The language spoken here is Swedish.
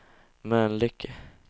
Mölnlycke